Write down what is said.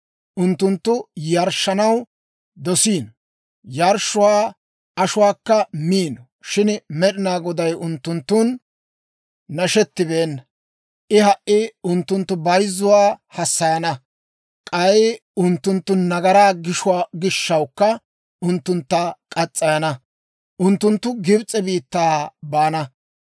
Unttunttu yarshshanaw dosiino; yarshshuwaa ashuwaakka miino; shin Med'inaa Goday unttunttun nashettibeena. I ha"i unttunttu bayzzuwaa hassayana; k'ay unttunttu nagaraa gishshawukka unttuntta murana; unttunttu Gibs'e biittaa baana.